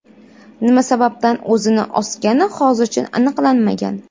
nima sababdan o‘zini osgani hozircha aniqlanmagan.